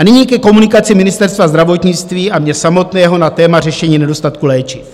A nyní ke komunikaci Ministerstva zdravotnictví a mě samotného na téma řešení nedostatku léčiv.